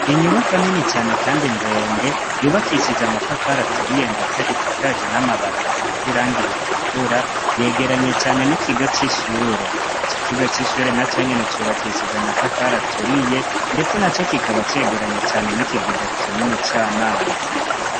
Inyubako nini cane, kandi ndende yubakishije amatafara aturiye, ndetse isakaje n'amabata asizirango iritukura yegeranye cane n'ikigo c'ishure ico kigo c'ishure na co nyene cubakishije amatafaro aturiye, ndetse na co kikaba cegeranye cane n'ikigega kinini c'amazi.